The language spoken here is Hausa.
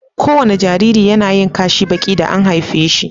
ko wani Jariri yAnayin Kashi Baki da an haife shi